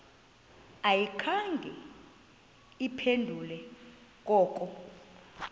ayikhange iphendule koko